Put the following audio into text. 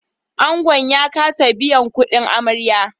Angon ya kasa biyan kudin amarya